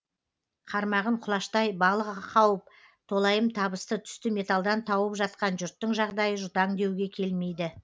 қармағын құлаштай балық қауып толайым табысты түсті металдан тауып жатқан жұрттың жағдайы жұтаң деуге келмейді